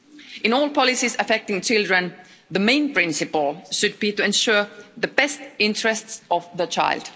In all policies affecting children, the main principle should be to ensure the best interests of the child.